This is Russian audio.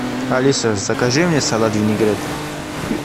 алиса закажи мне салат винегрет